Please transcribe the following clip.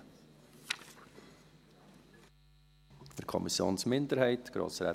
Für die Kommissionsminderheit, Grossrätin Zybach.